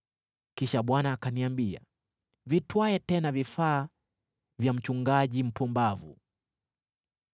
Kisha Bwana akaniambia, “Vitwae tena vifaa vya mchungaji mpumbavu.